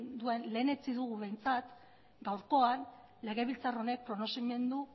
duen lehenetsi dugu behintzat gaurkoan legebiltzar honek errekonozimendu